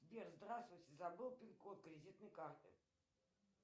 сбер здравствуйте забыл пин код кредитной карты